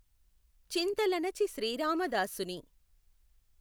చింత లణచి శ్రీరామదాసుని